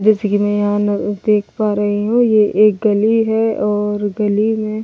जैसे कि मैं यहां ना देख पा रही हूं ये एक गली है और गली में--